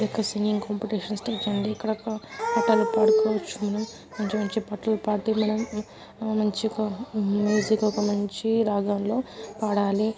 ఇది ఒక singing competition stage అండి. ఇక్కడ పాటలు పాడుకోవచ్చు మంచి మంచి పాటలు పాడుతూ మనం మంచిగ మ్యాజిక్ ఒక మంచి రాగంలో పాడాలి.